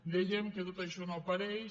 dèiem que tot això no apareix